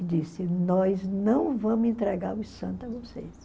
E disse, nós não vamos entregar os santos a vocês.